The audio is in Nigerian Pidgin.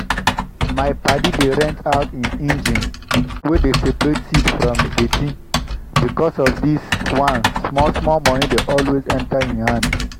my padi dey rent out him engine wey dey separate seed from deti. because of this one small-small money dey always enter him him hand.